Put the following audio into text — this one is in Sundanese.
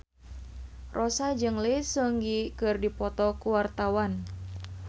Rossa jeung Lee Seung Gi keur dipoto ku wartawan